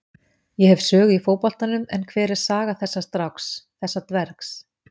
Ég hef sögu í fótboltanum en hver er saga þessa stráks, þessa dvergs?